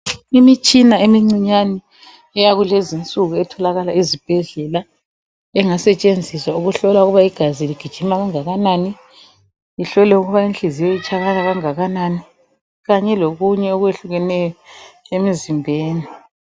Imitshina emicinyane eyakulezi insuku etholakala ezibhedlela engasetshenziswa uhlola ukubana igazi ligijima kangakanani kuhlolwe ukuba inhliziyo itshaya kangakanani kanye lokunye okwehlukeneyo emizimbeni.